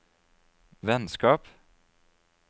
vennskap